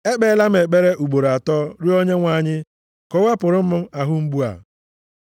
Ekpeela m ekpere ugboro atọ rịọ Onyenwe anyị ka o wepụrụ m ahụ mgbu a.